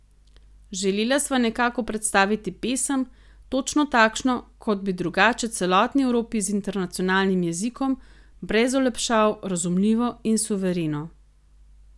Želela sva nekako predstaviti pesem, točno takšno, kot bi drugače celotni Evropi z internacionalnim jezikom, brez olepšav, razumljivo in suvereno.